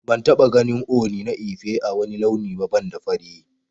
Ban taba ganin Ooni na Ife ã wani launi ba banda fari.